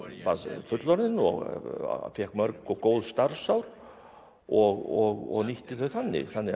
fullorðinn og fékk mörg og góð starfsár og nýtti þau þannig þannig að